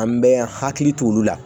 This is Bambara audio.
An bɛ hakili to olu la